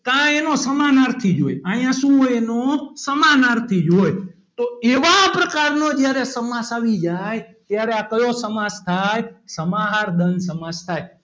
કા એનો સમાનાર્થી જ હોય અહીંયા શું હોય એનો સમાનાર્થી જ હોય તો એવા પ્રકારનો જયારે સમાસ આવી જાય ત્યારે આ કયો સમાસ થાય સમાહાર દ્વંદ સમાસ થાય.